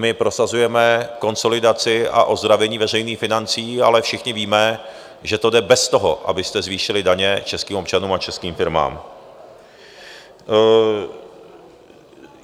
My prosazujeme konsolidaci a ozdravení veřejných financí, ale všichni víme, že to jde bez toho, abyste zvýšili daně českým občanům a českým firmám.